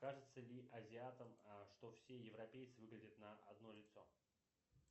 кажется ли азиатам что все европейцы выглядят на одно лицо